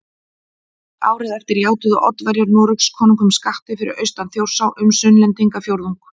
Árið eftir játuðu Oddaverjar Noregskonungum skatti fyrir austan Þjórsá um Sunnlendingafjórðung